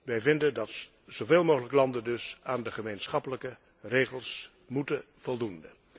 Wij vinden dat zoveel mogelijk landen aan de gemeenschappelijke regels moeten voldoen.